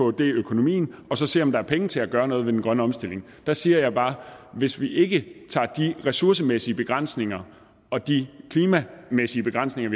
økonomien og så se om der er penge til at gøre noget ved den grønne omstilling der siger jeg bare hvis vi ikke tager de ressourcemæssige begrænsninger og de klimamæssige begrænsninger